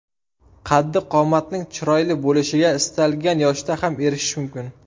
Qaddi-qomatning chiroyli bo‘lishiga istalgan yoshda ham erishish mumkin.